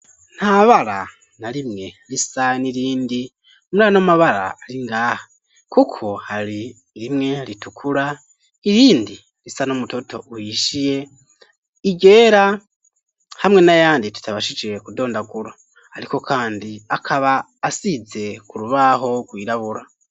Ntabara na rimwe risa n'irindi murano m'amabara ari ngaha kuko hari rimwe ritukura irindi risa n'umutoto uhishiye iryera hamwe n'ayandi tutabashije kudondagura ariko kandi akaba asize ku rubaho rwirabura